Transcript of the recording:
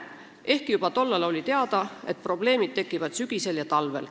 Samas oli juba tol ajal teada, et probleemid tekivad sügisel ja talvel.